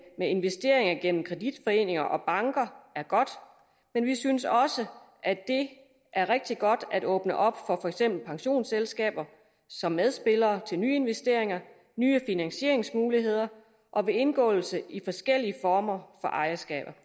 med investeringer gennem kreditforeninger og banker er godt men vi synes også at det er rigtig godt at åbne op for for eksempel pensionsselskaber som medspillere med nye investeringer nye finansieringsmuligheder ved indgåelse i forskellige former for ejerskaber